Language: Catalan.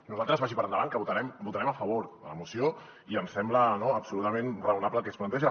nosaltres vagi per davant que votarem a favor de la moció i ens sembla absolutament raonable el que s’hi planteja